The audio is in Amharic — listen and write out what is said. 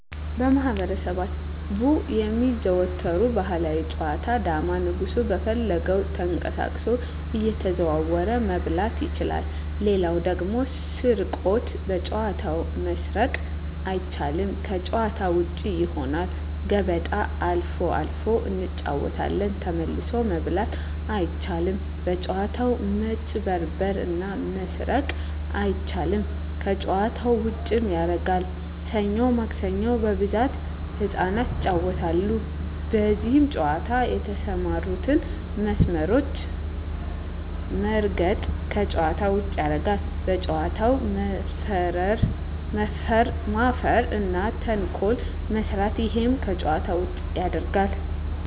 በማህበረሰቡ የሚዘወተሩ ባህላዊ ጨዋታ ዳማ ንጉሡ በፈለገው ተቀሳቅሶ እየተዘዋወረ መብላት ይችላል ሌላው ደግሞ ስርቆት በጨዋታው መስረቅ አይቻልም ከጭዋታ ውጭ ይሆናል ገበጣ አልፎ አልፎ እንጫወታለን ተመልሶ መብላት አይቻልም በጭዋታው መጭበርበር እና መስረቅ አይቻልም ከጨዋታው ዉጭም ያረጋል ሠኞ ማክሰኞ በብዛት ህጻናት ይጫወታሉ በዚህ ጨዋታ የተሠማሩትን መስመሮች መርገጥ ከጨዋታ ውጭ ያረጋል በጨዋታው መፈረ እና ተንኮል መስራት እሄም ከጨዋታ ውጭ ያረጋል